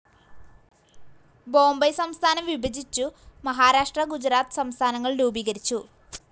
ബോംബൈ സംസ്ഥാനം വിഭജിച്ചു മഹാരാഷ്ട്ര ഗുജറാത്ത് സംസ്ഥാനങ്ങൾ രൂപീകരിച്ചു.